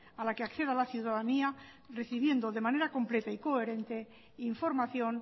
a la que acceda la ciudadanía decidiendo de manera completa y coherente información